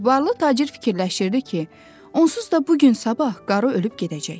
Varlı tacir fikirləşirdi ki, onsuz da bu gün sabah qarı ölüb gedəcək.